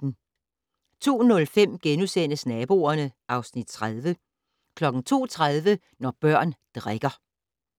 02:05: Naboerne (Afs. 30)* 02:30: Når børn drikker